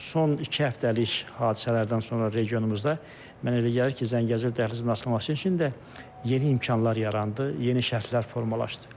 Son iki həftəlik hadisələrdən sonra regionumuzda mən elə gəlir ki, Zəngəzur dəhlizinin açılması üçün də yeni imkanlar yarandı, yeni şərtlər formalaşdı.